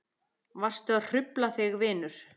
Varstu að hrufla þig vinur?